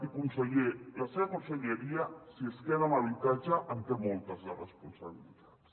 i conseller la seva conselleria si es queda amb habitatge en té moltes de responsabilitats